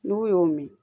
N'u y'o min